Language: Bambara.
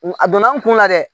A donna n kun na dɛ